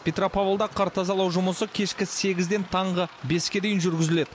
петропавлда қар тазалау жұмысы кешкі сегізден таңғы беске дейін жүргізіледі